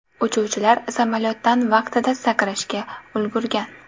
Uchuvchilar samolyotdan vaqtida sakrashga ulgurgan.